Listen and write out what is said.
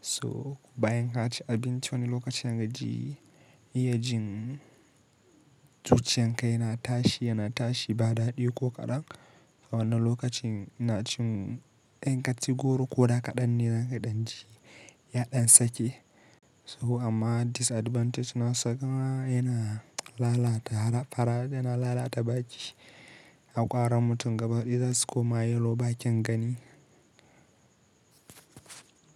so bayan ka ci abinci wani lokacin ka ji, iya jin zuciyan ka yana tashi, yana tashi ba daɗi ko kaɗan. A wannan lokacin ina cin in kaci goro ko da kaɗan ne za ka ɗan ji ya ɗan sake. To amma disadvantage nasa kuma yana lalata har fara yana lalata baki Hakwaran mutum gaba daya zasu koma yelow baken gani.